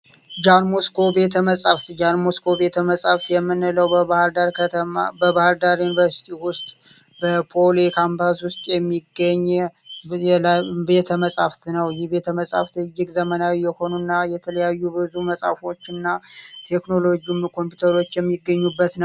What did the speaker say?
ጃን ሞስኮ ቤተመጻሕፍት ጃን ሞስኮ ቤተመጻሕፍት የምንለው በባህርዳር ከተማ በባህርዳር ዩኒቨርስቲ ውስጥ በፓሊ ካምፓስ ውስጥ የሚገኝ ቤተመጻሕፍት ነው። ይህ ቤተመጻሕፍት እጅግ ዘመናዊ የሆኑ እና የተለያ መፅሃፍቶች እና ቴክኖሎጂ ኮምፒውተሮች የሚገኙበት ነው።